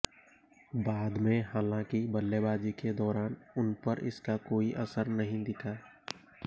बाद में हालांकि बल्लेबाजी के दौरान उन पर इसका कोई असर नहीं दिखा